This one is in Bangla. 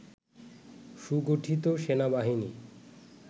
সুগঠিত সেনাবাহিনী